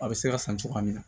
A bɛ se ka san cogoya min na